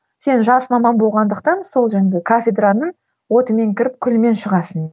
сен жас маман болғандықтан сол жаңа кафедраның отымен кіріп күлімен шығасың